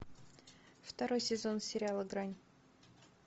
второй сезон сериала грань